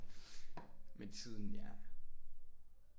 Med tiden ja